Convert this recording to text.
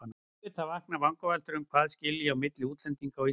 En auðvitað vakna vangaveltur um hvað skilji á milli útlendinga og Íslendinga.